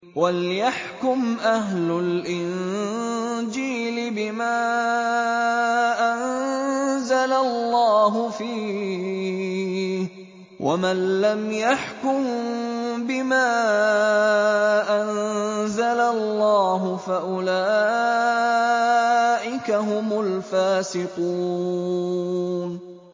وَلْيَحْكُمْ أَهْلُ الْإِنجِيلِ بِمَا أَنزَلَ اللَّهُ فِيهِ ۚ وَمَن لَّمْ يَحْكُم بِمَا أَنزَلَ اللَّهُ فَأُولَٰئِكَ هُمُ الْفَاسِقُونَ